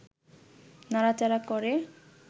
নাড়াচাড়া করে